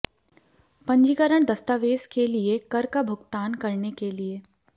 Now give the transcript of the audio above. पंजीकरण दस्तावेज़ के लिए कर का भुगतान करने के लिए